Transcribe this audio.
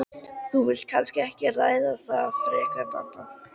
Þú vilt kannski ekki ræða það frekar en annað?